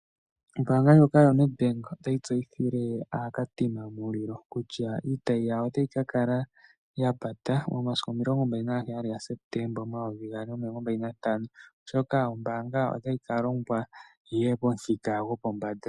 Ombaanga ndjoka yoNEDBANK otayi tseyithile aaKatima Mulilo kutya iitayi yayo otayi ka kala ya pata momasiku omilongo mbali nagaheyali gaSeptemba omayovi gaali nomilongo mbali nantano, oshoka ombaanga otayi ka longwa, yi ye pomuthika gopombanda.